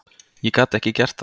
Ég gat ekki gert það.